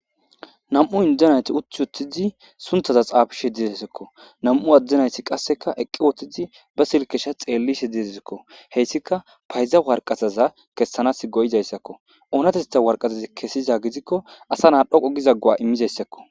Nam7u indde naythi uththi uththidi sunththaza xaafishe dizaysekko; nam7u adde naythi qasseka eqqi wooththidi ba silkkesha xeellishe dizezikko; heyssika payza warqazaza kessanaassi go7izayssakko; oonatheththa warqazazi kessiza gidikko asa naa dhoqu giza go7aa immizayssakko.